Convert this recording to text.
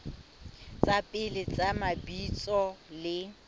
tsa pele tsa mabitso le